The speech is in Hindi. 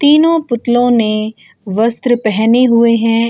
तीनो पुतलो ने वस्त्र पहने हुए हैं।